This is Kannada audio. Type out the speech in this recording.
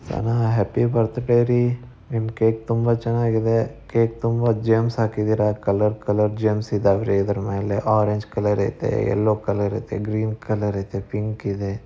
ಸನ ಹ್ಯಾಪಿ ಬರ್ತಡೆ ರೀ ನಿಮ್ ಕೇಕ್ ತುಂಬಾ ಚೆನ್ನಾಗಿದೆ. ಕೇಕ್ ತುಂಬಾ ಜೇಮ್ಸ್ ಹಾಕಿದ್ದೀರಾ ಕಲರ್ ಕಲರ್ ಜೆಮ್ಸ್ ಇದಾವ್ರಿ ಅದರ್ ಮೇಲೆ ಆರೆಂಜ್ ಕಲರ್ ಐತೆ ಎಲ್ಲೋ ಕಲರ್ ಐತೆ ಗ್ರೀನ್ ಕಲರ್ ಐತೆ ಪಿಂಕ್ ಇದೆ.